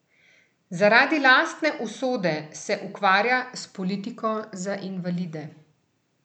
Zaradi lastne usode se ukvarja s politiko za invalide.